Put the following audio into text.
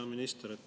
Hea minister!